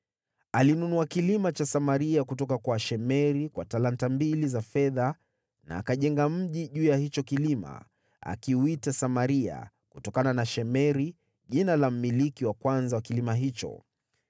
Alinunua kilima cha Samaria kutoka kwa Shemeri kwa talanta mbili za fedha na akajenga mji juu ya hicho kilima, akiuita Samaria, kutokana na Shemeri, jina la mmiliki wa kwanza wa kilima hicho.